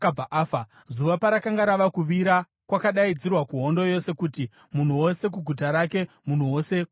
Zuva parakanga rava kuvira, kwakadaidzirwa kuhondo yose kuti, “Munhu wose kuguta rake; munhu wose kunyika yake!”